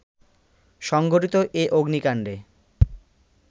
সংঘটিত এ অগ্নিকাণ্ডে